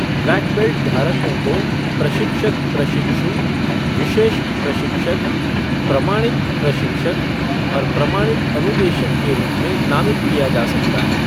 Black belt धारकों को प्रशिक्षक प्रशिक्षु, विशेष प्रशिक्षक, प्रमाणित प्रशिक्षक और प्रमाणित अनुदेशक के रूप में नामित किया जा सकता है।